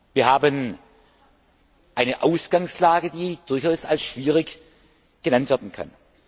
Wir haben eine Ausgangslage, die durchaus als schwierig bezeichnet werden kann.